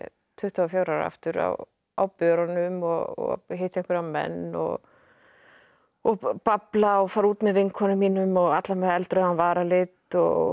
tuttugu og fjögur aftur á á börunum og hitta einhverja menn og og babla og fara út með vinkonum mínum og allar með varalit og